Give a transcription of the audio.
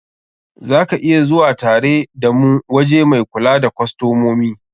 Za ka iya zuwa tare da mu waje mai kula da kostomomi.